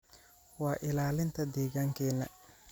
waa ilaalinta deegaankeena